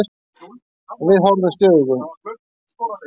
Og við horfumst í augu.